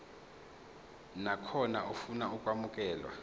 nakhona ofuna ukwamukelwa